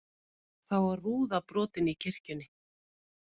Þá var rúða brotin í kirkjunni